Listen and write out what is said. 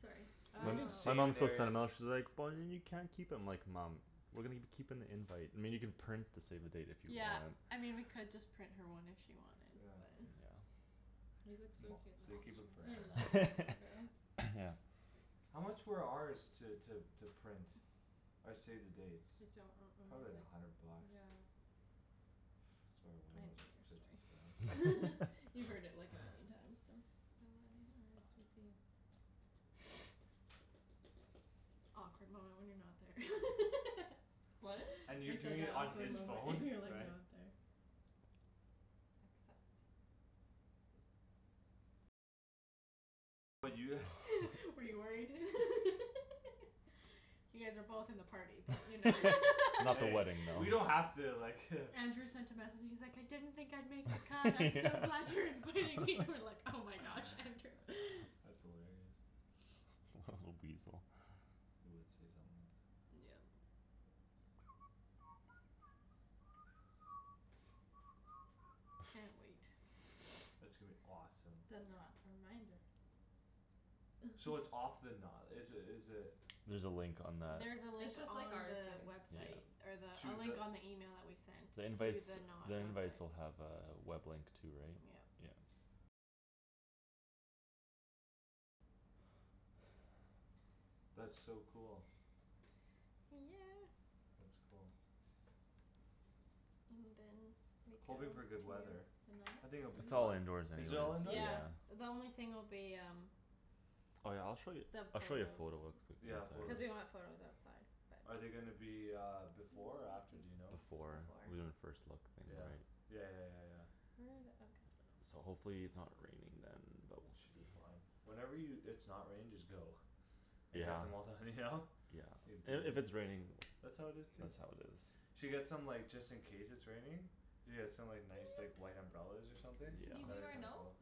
Sorry. You can My mom thinks I'm not, she's like, "But then you can't keep 'em." I'm like, "Mom." "We're gonna gi- keep an invite, I mean, you can print the save the date if you Yeah, want." I mean we could just print her one if she wanted but Yeah. Yeah. Moms. They keep 'em I love forever. that photo. Yeah. How much were ours to, to, to print? Our save the dates? I don't re- Probably remember, like a hundred like, bucks. yeah. Sorry, when I it was didn't like hear your fifty story. five or You've heard it like a million times, so. The wedding RSVP. Awkward moment when you're not there. What? And you're I said, doing "That it on awkward his and phone, you're, like, right? not there." Accept. Were you worried? You guys are both in the party but you know Not the Hey, wedding, though. we don't have to like Andrew sent a message; he's like, "I didn't think I'd make the cut. I'm so Yeah. glad you're inviting me!" And I'm like, "Oh my gosh, Andrew." That's hilarious. Little weasel. He would say something like that. Yeah. Yeah. Can't wait. It's gonna be awesome. The Knot reminder. So it's off the na- is it, is it There's a link on that. There's a link It's just on like ours, the babe. website. Yeah. Or the, a To link the on the email that we sent. The To invites, the Knot the invites website. will have a web link too, right? Yeah. Yeah. That's so cool. Yeah. That's cool. And then we go Hoping for good weather. to The Knot? I think Can it'll be It's all fine. you indoors Is anyways, it all indoor? Yeah, yeah. the only thing will be um Oh, yeah, I'll show you, The I'll show you a photo photos. quickly Yeah, Cuz photos. we wanna have photos outside, Are but they gonna be uh before or after, do you know? Before. We're gonna Before. first look in the Yeah, night. yeah, yeah, yeah, yeah. Where are the, oh So guest list. hopefully it's not raining then but we We should should be be fine. fine. Whenever you, it's not raining just go. And get Yeah. the mo- the, you know? Say "Beat And if it." it's raining, That's that's how how it it is too. is. Should get some, like, just in case it's raining. Yeah, some, like, nice, like, white umbrellas or something. Can you do That'd be our kinda note? cool.